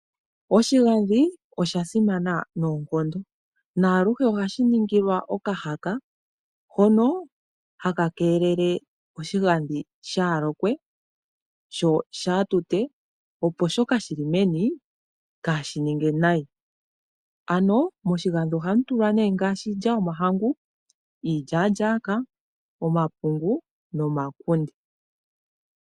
Oshigandhi oshasimana noonkondo, naaluhe ohashi ningilwa okahaka hono haka keelele oshigandhi shaalokwe sho shaatute opo shoka shili meni kaashininge nayi. Ano moshigandhi oha mutulwa nee ngaashi iilya yomahangu, iilyaalyaaka, omapungu no makunde.